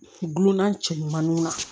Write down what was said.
Gulonna cɛ ɲumanw na